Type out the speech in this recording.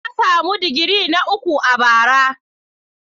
Na samu digiri na uku a bara.